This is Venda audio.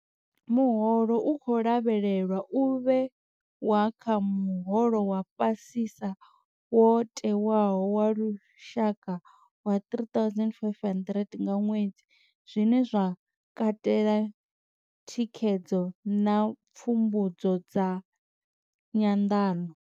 Muholo u khou lavhelelwa u vhewa kha muholo wa fhasisa wo tewaho wa lushaka wa R3 500 nga ṅwedzi, zwine zwa katela thikhedzo na pfumbudzo zwa nyanḓano.